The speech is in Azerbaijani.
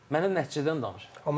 Mənə nəticədən danış.